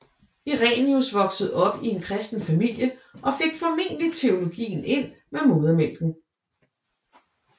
Irenæus voksede op i en kristen familie og fik formentlig teologien ind med modermælken